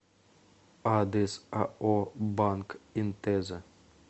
адрес ао банк интеза